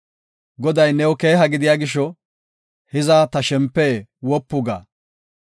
Goday new keeha gidiya gisho, hiza ta shempe, wopu ga.